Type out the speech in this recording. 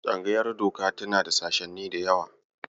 Tsangayar Doka tana da sashenni da yawa.